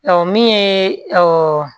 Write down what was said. Ɔ min ye